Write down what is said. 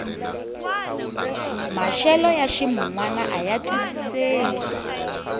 maxelo ya ximunwana aya twisiseki